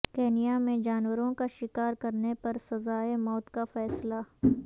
Kenya میں جانوروں کا شکار کرنے پر سزائے موت کا فیصلہ